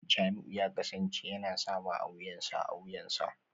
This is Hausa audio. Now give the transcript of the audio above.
Jamiu ya kasance yana sawa a wuyansa a wuyansa